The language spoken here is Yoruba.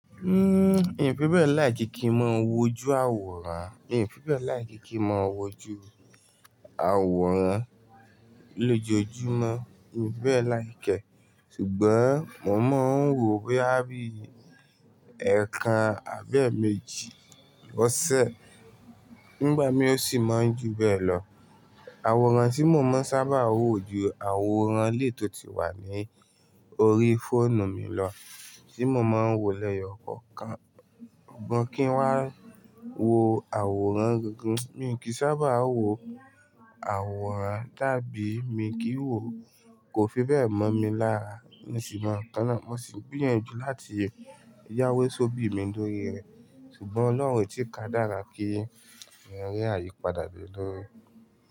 Hmm, hin fi bẹ́ẹ̀ láìkií kí n máa wo ju àwòrán, èmi fi bẹ́ẹ̀ láìkí kí n máa wo ju àwòrán lójoojúmọ́, èmi fi bẹ́ẹ̀ láìkẹ́ ṣùgbọ́n mo máa ń wo bí àbí ẹ̀ẹ̀kan àbí èèmejì ọ̀sẹ̀. Nígbà mí ó sì máa ń ju bẹ́ẹ̀ lọ. Àwòrán tí mo máa ń sábà wo ju àwòrán lè tó ti wà ní orí fóònù mi lọ tí mo máa ń wòlẹ́yọ̀ kọ̀ọ̀kan. Bọ̀ kí ń wá wo àwòrán gangan. Mi kì í sábà wo àwòrán, dàbí èmi kì í wo kò fi bẹ́ẹ̀ mọ̀ mi lára níṣìn mon nkànnà. Mo sì gbiyanjù láti yáwé sóbi mi lórí rẹ̀ ṣùgbọ́n Ọlọ́run o tí ka dára pé mo rí àyípadà bí lórí rẹ̀